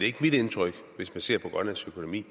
ikke mit indtryk hvis man ser på grønlands økonomi